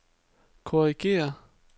korrigér